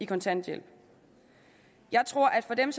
kontanthjælp jeg tror at for dem